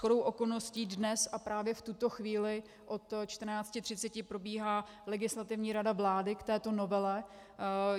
Shodou okolností dnes a právě v tuto chvíli od 14.30 probíhá Legislativní rada vlády k této novele.